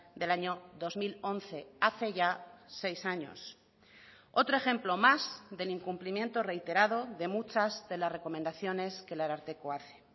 del año dos mil once hace ya seis años otro ejemplo más del incumplimiento reiterado de muchas de las recomendaciones que el ararteko hace